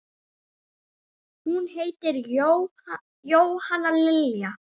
Hún heitir Jóhanna Lilja.